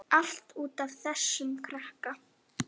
Allt út af þessum krakka.